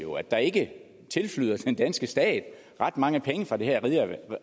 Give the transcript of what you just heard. der ikke tilflyder den danske stat ret mange penge fra det her